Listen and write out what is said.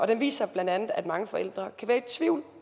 den viser bla at mange forældre kan være i tvivl